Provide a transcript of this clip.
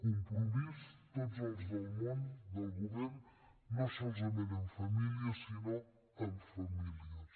compromís tots els del món del govern no solament en famílies sinó amb famílies